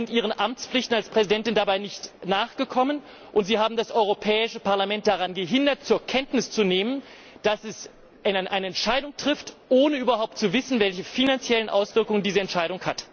Sie sind Ihren Amtspflichten als Präsidentin dabei nicht nachgekommen, und Sie haben das Europäische Parlament daran gehindert, zur Kenntnis zu nehmen, dass es eine Entscheidung trifft, ohne überhaupt zu wissen, welche finanziellen Auswirkungen diese Entscheidung hat.